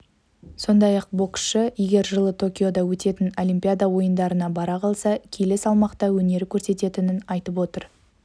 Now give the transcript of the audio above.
сондай-ақ боксшы егер жылы токиода өтетін олимпиада ойындарына бара қалса келі салмақта өнер көрсететінін айтып отыр